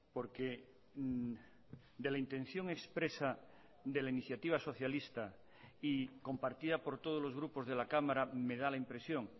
porque de la intención expresa de la iniciativa socialista y compartida por todos los grupos de la cámara me da la impresión